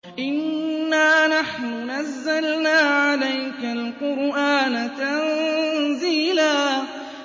إِنَّا نَحْنُ نَزَّلْنَا عَلَيْكَ الْقُرْآنَ تَنزِيلًا